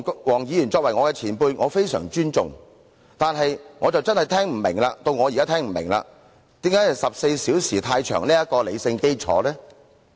黃議員作為我的前輩，我非常尊重他，但我現在真的聽不明白，他提出辯論14小時是過長的理性基礎何在？